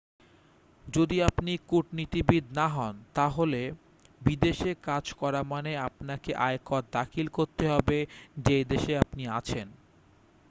যদি আপনি কূটনীতিবিদ না হন তাহলে বিদেশে কাজ করা মানে আপনাকে আয়কর দাখিল করতে হবে যেই দেশে আপনি আছেন